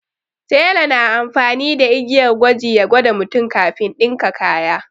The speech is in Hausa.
Tela na amfani da igiyar gwaji ya gwada mutum kafin ɗinka kaya.